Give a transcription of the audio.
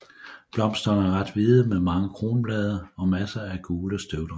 Blomsterne er rent hvide med mange kronblade og masser af gule støvdragere